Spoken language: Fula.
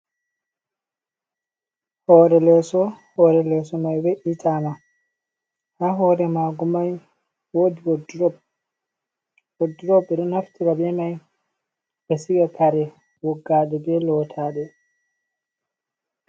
Hore leso hore leso mai we’itama, ha hore mago mai, wodi wodrob, wodrobe ɓeɗo naftira be mai ɓe sika kare wogga ɗe ɓe lotaɗe.